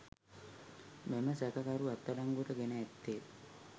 මෙම සැකකරු අත්අඩංගුවට ගෙන ඇත්තේ